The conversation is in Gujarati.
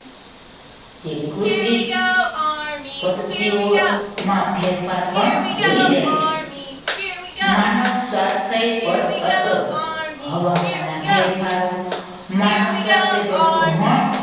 જે કૃષિ પદ્ધતિઓ માં ફેરફાર પણ દોરી જાય છે. માનવ સ્વાસ્થ્ય પર અસરો હવામાનના ફેરફારો માનવ સ્વાસ્થ્ય પર ગ્રહણ